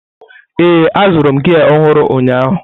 Ee, azụrụ m gia ọhụrụ ụnyaahụ.